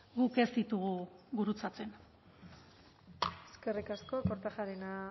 guk ez ditugu gurutzatzen eskerrik asko kortajarena